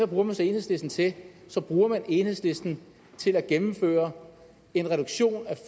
bruger man så enhedslisten til så bruger man enhedslisten til at gennemføre en reduktion af